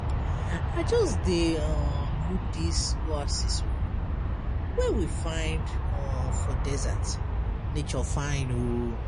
I just dey um look dis oasis wey we find um for desert, nature fine o.